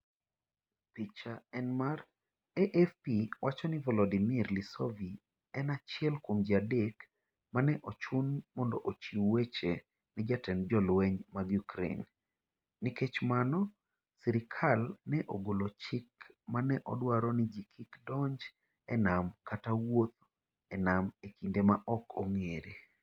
Picha en mar" AFP wacho niVolodymyr Lisovyi en achiel kuom ji adek ma ne ochun mondo ochiw weche ne jatend jolweny mag Ukraine Nikech mano, sirkal ne ogolo chik ma ne dwaro ni ji kik donj e nam kata wuoth e nam e kinde ma ok ong'ere.